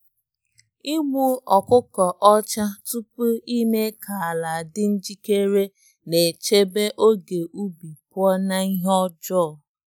Igbu ọkụko ọcha tupu ime ka ala dị njikere na-echebe oge ubi pụọ n’ihe ọjọọ.